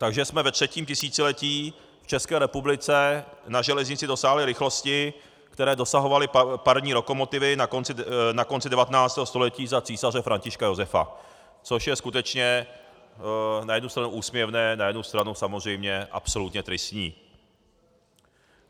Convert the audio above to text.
Takže jsme ve třetím tisíciletí v České republice na železnici dosáhli rychlosti, které dosahovaly parní lokomotivy na konci 19. století za císaře Františka Josefa, což je skutečně na jednu stranu úsměvné, na jednu straně samozřejmě absolutně tristní.